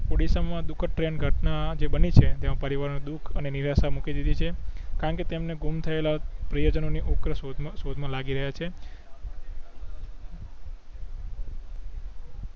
ઓડીસ્સા માં દુખદ ટ્રેન ઘટના જે બની છે જેના પરિવારો ને દુખ અને નિરાશા મૂકી દીધી છે કારણ કે તેમણે ગુમ થયેલા પ્રિયજનો ની ઉગ્ર શોધ માં શોધ માં લાગી રયા છે